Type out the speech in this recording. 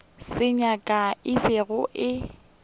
se nyaka e be e